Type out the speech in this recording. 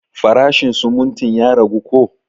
Farashin sumuntin ya ragu ko?